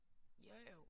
Jo jo